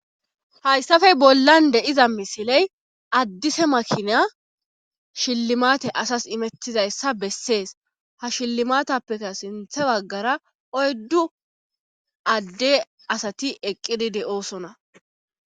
Hayssafe bollan de iza misiley addise makinya shillimate asas imettizayssa bessees ha shillimatappeka sinthe baggara oyddu adde asati eqqidi de7oosona.